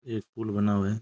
एक पुल बना हुआ है।